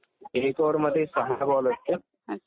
एक ओवर मधे सहा बॉल असते.